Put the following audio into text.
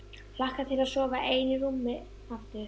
Hlakka til að sofa ein í rúmi aftur.